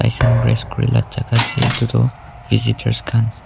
rest kurela jaga ase itu toh visitors khan.